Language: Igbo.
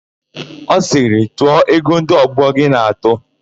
Ọ sịrị, "tụọ ego ndị ọgbọ gị na-atụ"!